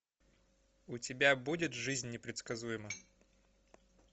у тебя будет жизнь непредсказуема